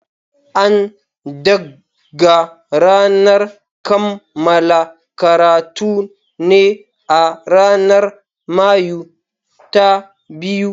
An dagga ranar kammala karatun ne a ranar Mayu ta biyu.